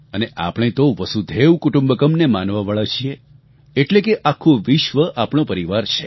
અને આપણે તો વસુધૈવ કુટુંબકમ્ ને માનવાવાળા છીએ એટલે કે આખું વિશ્વ આપણો પરિવાર છે